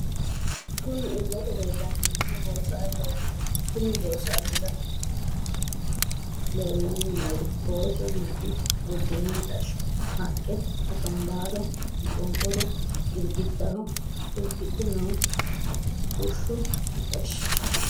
Kunni illete leelani noohu boosaloti konni boosalira leelani noori booso nooti budeenu mixashsho, haqqe, akanbaallo, maqonqoru, girigidaho irkidhe noo bushshu mixashsho.